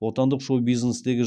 отандық шоу бизнестегі